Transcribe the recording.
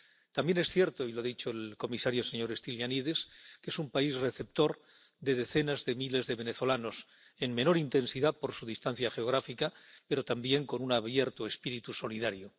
También es cierto —y lo ha dicho el comisario, señor Stylianides— que es un país receptor de decenas de miles de venezolanos, en menor intensidad por su distancia geográfica, pero también con un abierto espíritu solidario.